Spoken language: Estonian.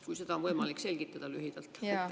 Kui seda on võimalik lühidalt selgitada.